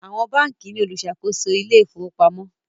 Àwọn bánkì ní oluṣakoso Ilé ìfowópamọ́.